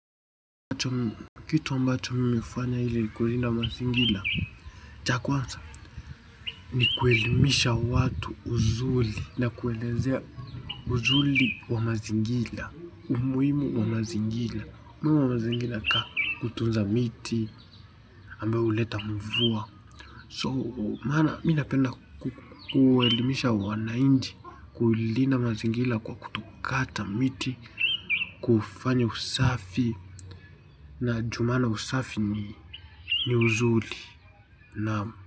Kitu ambacho mimi hufanya ilikulinda mazingira, cha kwanza ni kuelimisha watu uzuri na kuelezea uzuri na umuhimu wa mazingira umuhimu wa mazingira kama kutunza miti, ambao huleta mvua. Mimi napenda kuelimisha wananchi, kulinda mazingira kwa kutokata miti, kufanya usafi maana usafi ni uzuri.